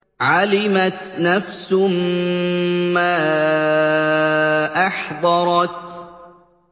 عَلِمَتْ نَفْسٌ مَّا أَحْضَرَتْ